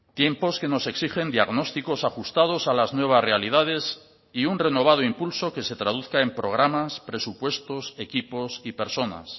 tiempos que nos exigen diagnósticos ajustados a las nuevas realidades y un renovado impulso que se traduzca en programas presupuestos equipos y personas